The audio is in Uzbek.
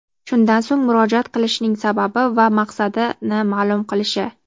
shundan so‘ng murojaat qilishining sababi va maqsadini maʼlum qilishi;.